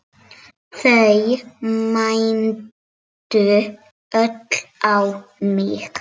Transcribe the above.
Þau mændu öll á mig.